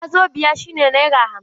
Wazobiya shi ne naira hamsin.